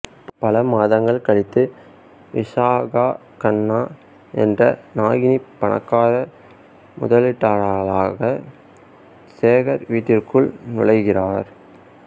பல மாதங்கள் கழித்து விஷாகா கண்ணா என்ற நாகினி பணக்கார முதலீட்டாளராக சேகர் வீட்டிற்குள் நுழைகிறார்